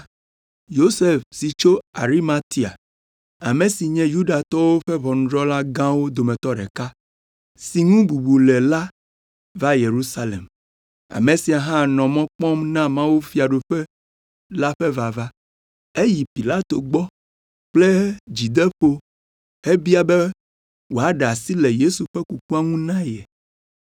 Yosef si tso Arimatia, ame si nye Yudatɔwo ƒe ʋɔnudrɔ̃la gãwo dometɔ ɖeka, si ŋu bubu le la va Yerusalem. Ame sia hã nɔ mɔ kpɔm na mawufiaɖuƒe la ƒe vava. Eyi Pilato gbɔ kple dzideƒo hebia be wòaɖe asi le Yesu ƒe kukua ŋu na ye.